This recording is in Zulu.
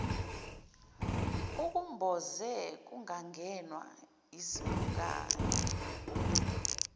ukumboze kungangenwa yizimpukane